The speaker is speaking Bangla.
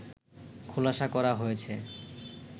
খোলাসা করা হয়েছে